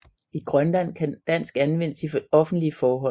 I Grønland kan dansk anvendes i offentlige forhold